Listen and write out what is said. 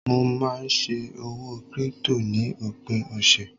mo ma n se òwò crypto ni opin ọsẹ